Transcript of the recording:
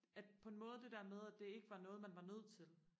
at på en måde det der med at det ikke var noget man var nødt til